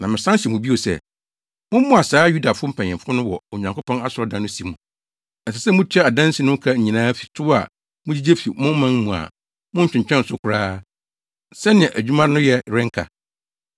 Na mesan hyɛ mo bio sɛ, mommoa saa Yudafo mpanyimfo no wɔ Onyankopɔn asɔredan no si mu. Ɛsɛ sɛ mutua adansi no ho ka nyinaa fi tow a mugyigye fi mo man mu a monntwentwɛn so koraa, sɛnea adwuma no yɛ renka.